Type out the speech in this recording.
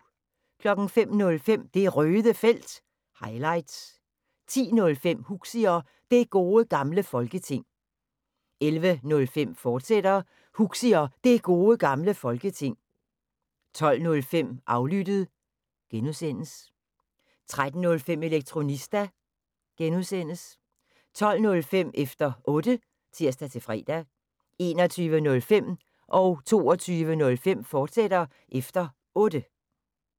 05:05: Det Røde Felt – highlights 10:05: Huxi og Det Gode Gamle Folketing 11:05: Huxi og Det Gode Gamle Folketing, fortsat 12:05: Aflyttet (G) 13:05: Elektronista (G) 20:05: Efter Otte (tir-fre) 21:05: Efter Otte, fortsat (tir-fre) 22:05: Efter Otte, fortsat (tir-fre)